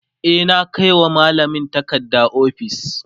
e na Kai wa mallamin takarda ofis